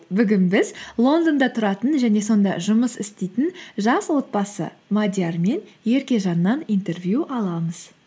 бүгін біз лондонда тұратын және сонда жұмыс істейтін жас отбасы мадиар мен еркежаннан интервью аламыз